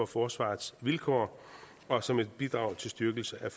forsvarets vilkår og som et bidrag til styrkelse af